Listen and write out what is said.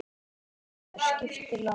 Hrund: Hvað er skipið langt?